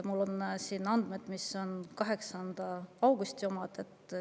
Mul on siin 8. augusti andmed.